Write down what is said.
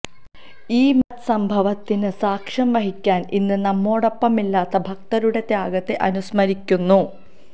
ഈ മഹദ് സംഭവത്തിന് സാക്ഷ്യം വഹിക്കാന് ഇന്ന് നമ്മോടൊപ്പമില്ലാത്ത ഭക്തരുടെ ത്യാഗത്തെ അനുസ്മരിക്കുന്നു